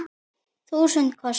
Þúsund kossar.